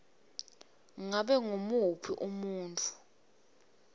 ngabe ngumuphi umuntfu